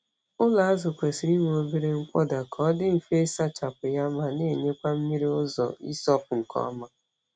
Ụlọ azụ kwesịrị inwe obere nkpọda ka ọ dị mfe ịsachapụ ya ma na-enyekwa mmiri ụzọ ịsọpụ nke ọma.